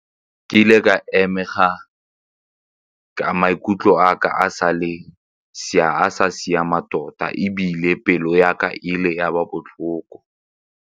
Ke ile ka ka maikutlo a ka a sa siama tota ebile pelo ya ka e ile ya ba botlhoko.